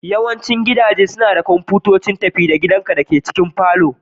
Yawancin gidaje suna da kwamfutoci tafi-da-gidanka da a cikin falon.